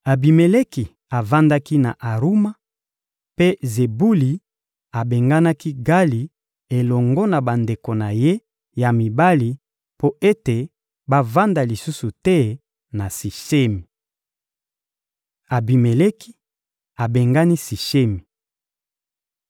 Abimeleki avandaki na Aruma, mpe Zebuli abenganaki Gali elongo na bandeko na ye ya mibali mpo ete bavanda lisusu te na Sishemi. Abimeleki abengani Sishemi